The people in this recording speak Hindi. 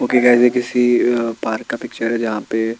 ओके गाईज ये किसी पार्क का पिक्चर है जहाँ पे--